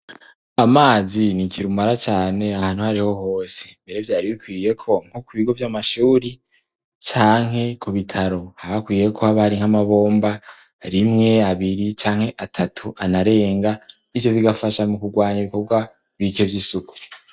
amazi ni ikirumara cane ahantu ahariho hose, mbere vyari bikwiye ko nko ku bigo vy'amashuri canke ku bitaro habahakwiye kuba hari nk'amabomba, rimwe abiri canke atatu anarenga. Ibyo bigafasha nu kugwanya ibikorwa bike vy'isuku.